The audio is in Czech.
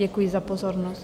Děkuji za pozornost.